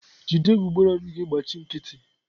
jide egbugbere ọnụ gị gbachi nkịtị!